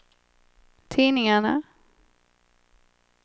tidningarna